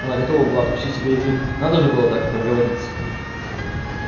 она готова была откусить себе язык надо же так проговориться